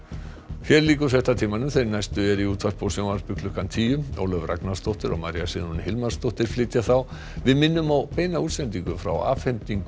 hér lýkur fréttatímanum þeir næstu eru í útvarpi og sjónvarpi klukkan tíu Ólöf Ragnarsdóttir og María Sigrún Hilmarsdóttir flytja þá við minnum á beina útsendingu frá afhendingu